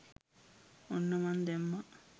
ඔන්න මන් දැම්මා